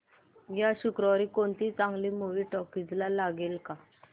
या शुक्रवारी कोणती चांगली मूवी टॉकीझ ला लागेल का